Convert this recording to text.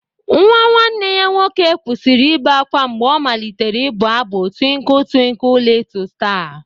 Nwa nwanne ya nwoke kwụsịrị ibe ákwá mgbe ọ malitere ịbụ abụ twiinkle twiinkle lịtụ star